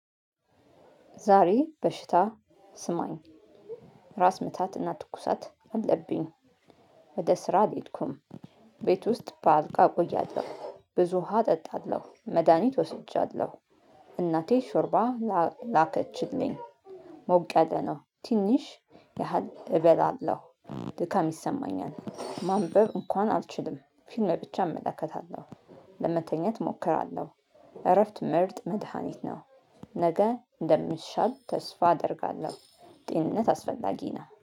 ዛሬ በሽታ ስማኝ ራስ ምታትና ትኩሳት አለብኝ። ወደ ስራ አልሄድኩም። ቤት ውስጥ በአልጋ እቆያለሁ ብዙ ውሃ እጠጣለሁ መድሃኒት ወስጃለሁ። እናቴ ሾርባ ላከችልኝ። ሞቀለ ነው ትንሽ ያህል እበላለሁ። ድካም ይሰማኛል ማንበብ እንኳን አልችልም። ፊልም ብቻ እመለከታለሁ። ለመተኛት እሞክራለሁ እረፍት ምርጥ መድሃኒት ነው። ነገ እንደሚሻል ተስፋ አደርጋለሁ። ጤንነት አስፈላጊ ነው